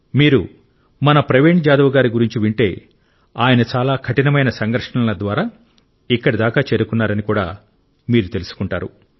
మీరు మన ప్రవీణ్ జాదవ్ గారి గురించి వింటే ఆయన చాలా కఠినమైన సంఘర్షణల ద్వారా ఇక్కడిదాకా చేరుకున్నారని కూడా మీరు తెలుసుకుంటారు